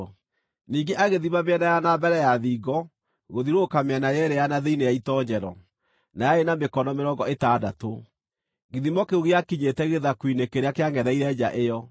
Ningĩ agĩthima mĩena ya na mbere ya thingo gũthiũrũrũka mĩena yeerĩ ya na thĩinĩ ya itoonyero, na yarĩ ya mĩkono mĩrongo ĩtandatũ. Gĩthimo kĩu gĩakinyĩte gĩthaku-inĩ kĩrĩa kĩangʼetheire nja ĩyo.